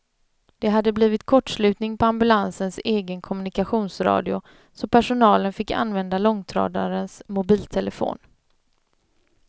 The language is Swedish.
Det hade blivit kortslutning på ambulansens egen kommunikationsradio, så personalen fick använda långtradarens mobiltelefon.